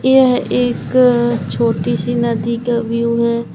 यह एक छोटी सी नदी का व्यू है।